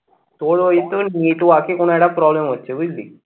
তোর ওই তোর network এ কোনো একটা problem হচ্ছে বুঝলি।